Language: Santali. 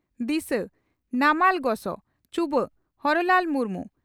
ᱫᱤᱥᱟᱹ (ᱱᱟᱢᱟᱞ ᱜᱚᱥᱚ) ᱪᱩᱵᱟᱹᱜ (ᱦᱚᱨᱚᱞᱟᱞ ᱢᱩᱨᱢᱩ)